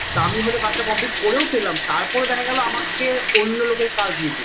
তা আমি হয়তো কাজটা complete করেও ফেললাম তারপরও দেখা গেল আমাকে অন্য লোকের কাজ দিয়ে দিল